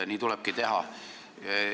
Nii tulebki teha.